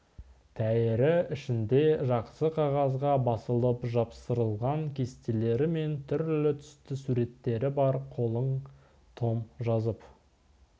тәйірі ішінде жақсы қағазға басылып жапсырылған кестелері мен түрлі түсті суреттері бар қалың том жазып